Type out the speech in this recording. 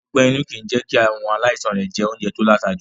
Ọgbé-inú kì í jẹ́ kí àwọn aláìsaln rẹ̀ jẹ oúnjẹ to láta jù.